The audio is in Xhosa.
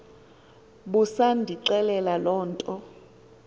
busandixelela loo nto